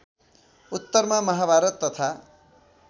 उत्तरमा माहाभारत तथा